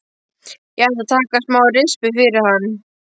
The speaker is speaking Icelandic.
Ég ætla að taka smá rispu fyrir hann.